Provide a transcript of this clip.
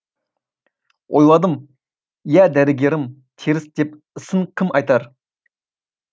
ойладым иә дәрігерім теріс деп ісің кім айтар